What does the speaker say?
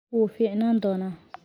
Wuu fiicnaan doonaa.